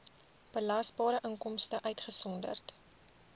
belasbare inkomste uitgesonderd